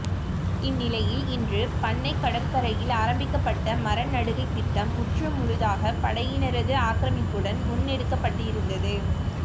இந்நிலையில் இன்று பண்ணை கடற்கரையில் ஆரம்பிக்கப்பட்ட மரநடுகை திட்டம் முற்றுமுழுதாக படையினரது ஆக்கிரமிப்புடன் முன்னெடுக்கப்பட்டிருந்தது